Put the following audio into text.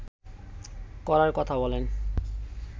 করার কথা বলেন